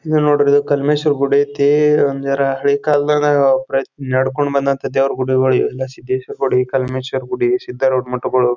ಇದು ನೋಡಿದ್ರ ಕಲ್ಮೇಶ್ವರ ಗುಡಿ ಐತಿ .ಅಂದ್ರ ಹಳಿ ಕಾಲದಾಗ ನಡೆದುಕೊಂಡಂಥ ದೇವ್ರ ಗುಡಿಗಳು ಇವೆಲ್ಲ ಸಿದ್ದೇಶ್ವರ ಗುಡಿ ಕಲ್ಮೇಶ್ವರ ಗುಡಿ ಸಿದ್ದಾರೂಢ ಮಠಗಳು.